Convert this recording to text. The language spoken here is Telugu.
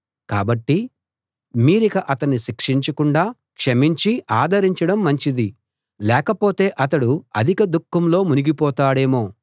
కాబట్టి మీరిక అతణ్ణి శిక్షించకుండా క్షమించి ఆదరించడం మంచిది లేకపోతే అతడు అధిక దుఃఖంలో మునిగిపోతాడేమో